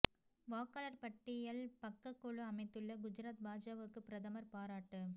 வாக்காளா் பட்டியல் பக்கக் குழு அமைத்துள்ள குஜராத் பாஜகவுக்கு பிரதமா் பாராட்டு